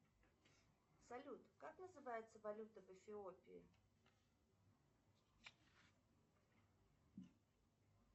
салют как называется валюта в эфиопии